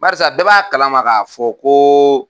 Barisa bɛɛ b'a kalama ka fɔ ko